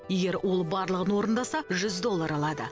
егер ол барлығын орындаса жүз доллар алады